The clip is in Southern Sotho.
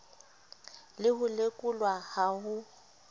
le ho lekolwa ha ho